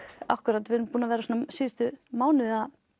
akkúrat við höfum verið síðustu mánuði